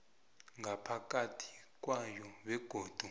ngaphakathi kwayo begodu